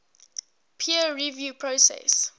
peer review process